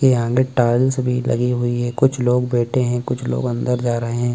पे आगे टाइल्स भी लगी हुई हैं कुछ लोग बैठे हैं कुछ लोग अंदर जा रहे हैं।